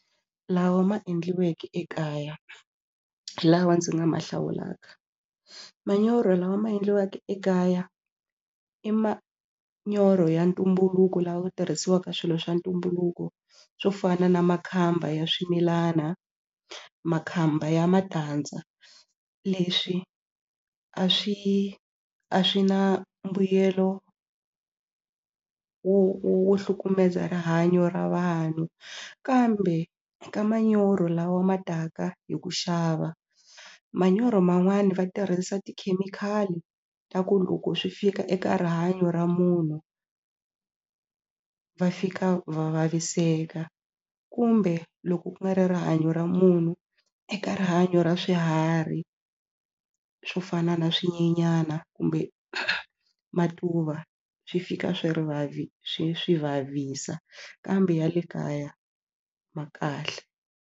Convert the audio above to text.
Lawa ma endliweke ekaya lawa ndzi nga ma hlawulaka manyoro lawa ma endliweke ekaya i manyoro ya ntumbuluko lawa tirhisiwaka swilo swa ntumbuluko swo fana na makhamba ya swimilana makhamba ya matandza leswi a swi a swi na mbuyelo wo wo hlukumeza rihanyo ra vanhu kambe eka manyoro lawa ma taka hi ku xava manyoro man'wani va tirhisa tikhemikhali ta ku loko swi fika eka rihanyo ra munhu va fika va vaviseka kumbe loko ku nga ri rihanyo ra munhu eka rihanyo ra swiharhi swo fana na swinyenyana kumbe matuva swi fika swi ri swi swi vavisa kambe ya le kaya ma kahle.